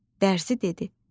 Dərzi dedi: